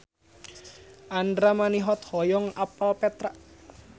Andra Manihot hoyong apal Petra